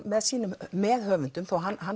með sínum meðhöfundum þó að hann